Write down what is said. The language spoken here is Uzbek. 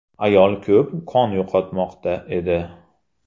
Ayol ko‘p qon yo‘qotmoqda edi.